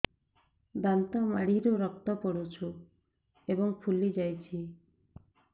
ଦାନ୍ତ ମାଢ଼ିରୁ ରକ୍ତ ପଡୁଛୁ ଏବଂ ଫୁଲି ଯାଇଛି